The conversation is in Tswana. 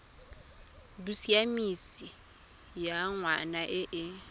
bosiamisi ya ngwana e e